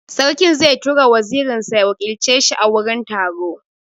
Sarki zai tura wazirin sa ya wakilce shi a wurin taro.